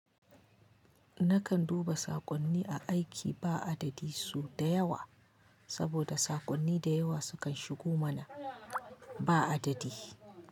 Nakan duba saƙonni a aiki ba adadi su da yawa, saboda saƙonni da yawa sukan shigo mana ba adadi.